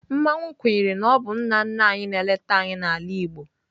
Mmanwu kwenyere na ọ bụ nna nna anyị na-eleta anyị n'ala Igbo.